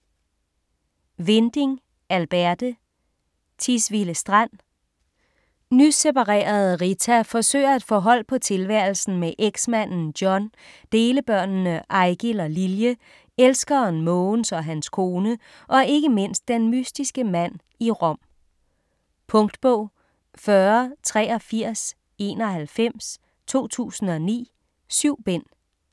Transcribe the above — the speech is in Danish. Winding, Alberte: Tisvilde Strand Nyseparerede Rita forsøger at få hold på tilværelsen med eksmanden John, delebørnene Eigil og Lilje, elskeren Mogens og hans kone, og ikke mindst den mystiske mand i Rom. Punktbog 408391 2009. 7 bind.